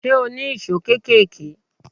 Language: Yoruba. Ṣé o ní ìṣó kéékèèké?